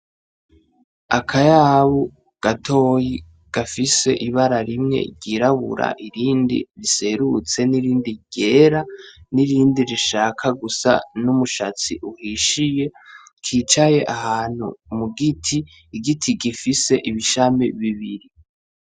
Akayabu gatoyi gafise ibara rimwe ryirabura irindi riserutse n’irindi ryera n’irindi rishaka gusa n’umushatsi uhishiye kicaye ahantu mugiti, igiti gifise amashami abiri.